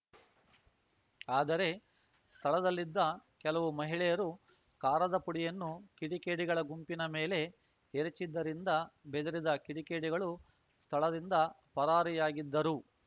ಆದರೆ ಸ್ಥಳದಲ್ಲಿದ್ದ ಕೆಲವು ಮಹಿಳೆಯರು ಖಾರದ ಪುಡಿಯನ್ನು ಕಿಡಿಕೇಡಿಗಳ ಗುಂಪಿನ ಮೇಲೆ ಎರಚಿದ್ದರಿಂದ ಬೆದರಿದ ಕಿಡಿಕೇಡಿಗಳು ಸ್ಥಳದಿಂದ ಪರಾರಿಯಾಗಿದ್ದರು